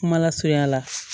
Kumalasurunya la